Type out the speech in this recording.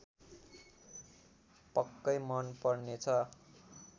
पक्कै मन पर्नेछ